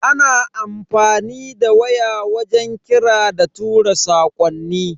Ana amfani da waya wajen kira da tura sakonni.